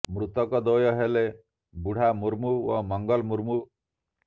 ମୃତକ ଦ୍ୱୟ ହେଲେ ବୁଢ଼ା ମୁର୍ମୁ ଓ ମଙ୍ଗଲ ମୁର୍ମୁ